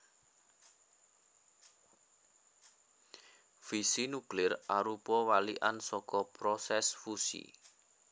Fisi nuklir arupa walikan saka prosès fusi